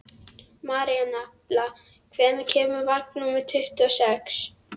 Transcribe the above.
Marinella, hvenær kemur vagn númer tuttugu og sex?